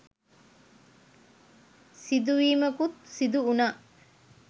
සිදුවීමකුත් සිදු වුනා..